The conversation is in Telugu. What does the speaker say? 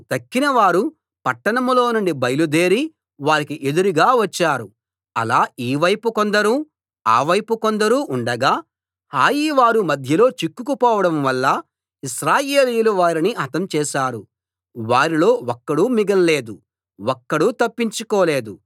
తక్కిన వారు పట్టణంలో నుండి బయలుదేరి వారికి ఎదురుగా వచ్చారు అలా ఈ వైపు కొందరు ఆ వైపు కొందరు ఉండగా హాయివారు మధ్యలో చిక్కుకుపోవడం వల్ల ఇశ్రాయేలీయులు వారిని హతం చేశారు వారిలో ఒక్కడూ మిగల్లేదు ఒక్కడూ తప్పించుకోలేదు